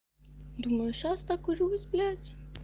думаю сейчас накурюсь блять